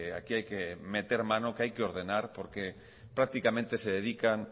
aquí hay que meter mano que hay que ordenar porque prácticamente se dedican